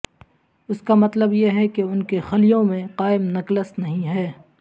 اس کا مطلب یہ ہے کہ ان کے خلیوں میں قائم نکلس نہیں ہے